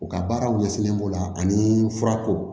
U ka baaraw ɲɛsinlen b'o la ani furako